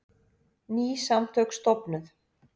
Ný samtök stofnuð